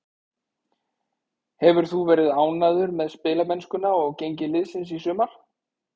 Hefur þú verið ánægður með spilamennskuna og gengi liðsins í sumar?